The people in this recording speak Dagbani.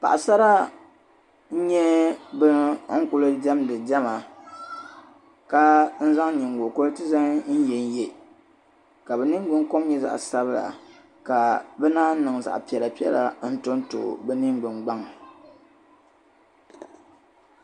paɣa sara n nyɛ ban kuli dɛmdi bɛ diɛma kaa zaŋ nyigo koriti n ye n ye bɛ nyingolinika bɛ ningbun kom nyɛ zaɣa sabila kaa bɛ naan niŋ zaɣa piɛla piɛla n tɔ n tɔ bɛ ningbun gbaŋ